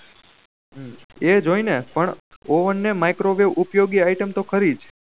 એજ હોય ને પણ ઓવન ને મીકરો વેવ ઉપયોગી item તો ખરી